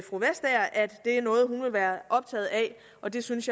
det er noget hun vil være optaget af og det synes